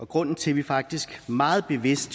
grunden til at vi faktisk meget bevidst